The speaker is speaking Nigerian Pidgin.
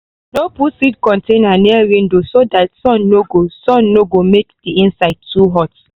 no put seed container near window so that sun no go sun no go make the inside too hot.